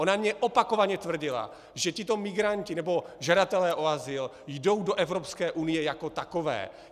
Ona mně opakovaně tvrdila, že tito migranti nebo žadatelé o azyl jdou do Evropské unie jako takové.